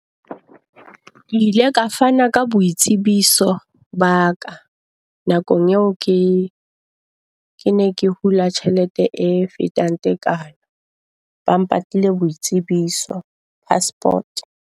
Ke ile ka fana ka boitsebiso ba ka nakong eo ke ke ne ke hula tjhelete e fetang tekano ba mpatlile boitsebiso, passport.